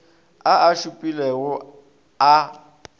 a a šupilego ao a